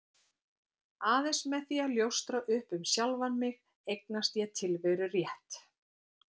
Aðeins með því að ljóstra upp um sjálfan mig eignast ég tilverurétt.